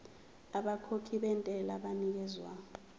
abakhokhi bentela banikezwa